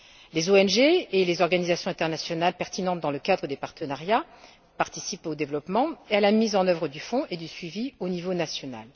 Les ONG et les organisations internationales concernées dans le cadre des partenariats participeront au développement et à la mise en œuvre du fondset du suivi au niveau national.